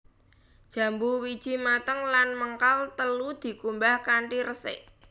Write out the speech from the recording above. Jambu wiji mateng lan mengkal telu dikumbah kanthi resik